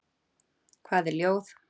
Hvað er ljóð?